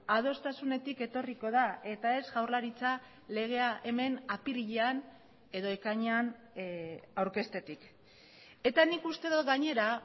adostasunetik etorriko da eta ez jaurlaritza legea hemen apirilean edo ekainean aurkeztetik eta nik uste dut gainera